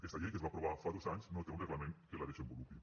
aquesta llei que es va aprovar fa dos anys no té un reglament que la desenvolupi